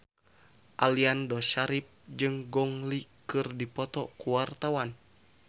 Aliando Syarif jeung Gong Li keur dipoto ku wartawan